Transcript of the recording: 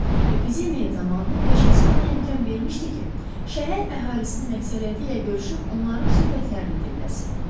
Epidemiya zamanı peşəsi ona imkan vermişdi ki, şəhər əhalisinin əksəriyyəti ilə görüşüb onların söhbətlərini dinləsin.